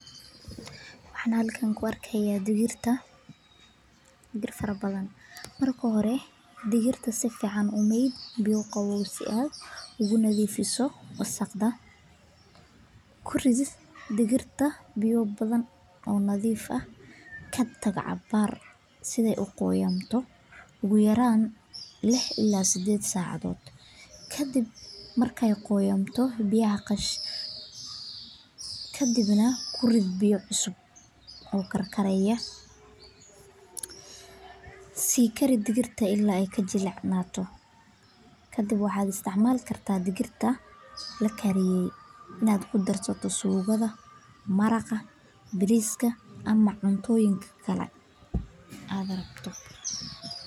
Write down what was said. Waxaan halkan ku arkaaya digir fara badan, marka hore ku meed biya, ku rid biya nadiif ah, kadib ku rid biya cusub oo karkaryaa, kadib waxaad isticmaali karta digirta sida suugada iyo cuntooyinka kale.